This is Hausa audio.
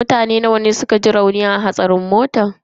Mutane nawa ne suka ji rauni a hatsarin motan?